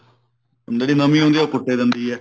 ਜਿਹੜੀ ਨਵੀਂ ਹੁੰਦੀ ਐ ਉਹ ਕੁੱਟ ਹੀ ਦਿੰਦੀ ਐ